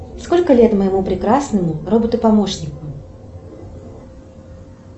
сколько лет моему прекрасному роботу помощнику